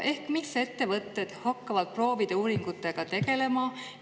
Ehk mis ettevõtted hakkavad proovide uuringutega tegelema?